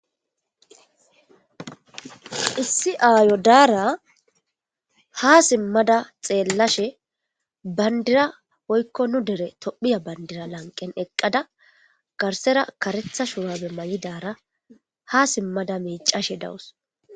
Issi ayo dara ha simada xelashe pandira woyko nu dere tophiya pandira laqen eqada garsera karetha shurabe mayidara ha simada micashe daws